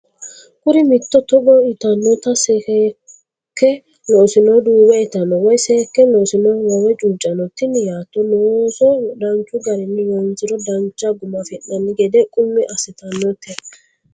Kuri mitte togo yitannote Seekke loosinohu duuwe itanno woy Seekke loosinohu loowe chuucanno Tini yaatto looso danchu garinni loonsiro dancha guma afi nanni gede qummi assitannote.